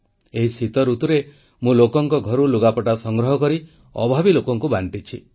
ଏହି ଶୀତଋତୁରେ ମୁଁ ଲୋକଙ୍କ ଘରୁ ଲୁଗାପଟା ସଂଗ୍ରହ କରି ଅଭାବୀ ଲୋକଙ୍କୁ ବାଂଟିଛି